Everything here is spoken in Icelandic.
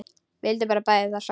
Vildum bæði það sama.